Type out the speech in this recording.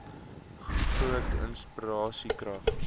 groot inspirasie krag